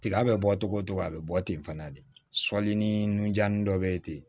Tiga bɛ bɔ togo togo a bɛ bɔ ten fana de sɔli ni nunjannin dɔ bɛ ten